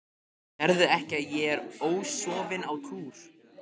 Sérðu ekki að ég er ósofin á túr.